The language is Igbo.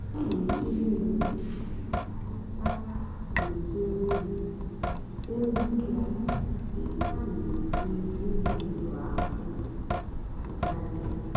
ọ́ nà-èchègbú ónwé yá màkà ndí hàckérs nà-èzú óhì ózì yá mgbe hà nà-èjì ngwá ùlọ àkụ̀ n'ị́ntánètị́.